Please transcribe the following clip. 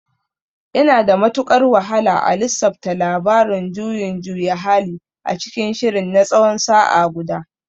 Yana da matukar wahala a lissafta labarin juyin juya hali a cikin shirin na tsawon sa'a guda.